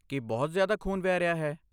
ਕੀ ਬਹੁਤ ਜ਼ਿਆਦਾ ਖੂਨ ਵਹਿ ਰਿਹਾ ਹੈ?